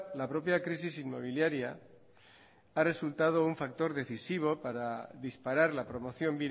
la propia crisis inmobiliaria ha resultado un factor decisivo para disparar la promoción